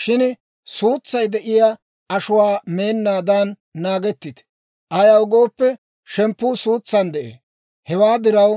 Shin suutsay de'iyaa ashuwaa meennaadan naagettite; ayaw gooppe, shemppuu suutsan de'ee; hewaa diraw,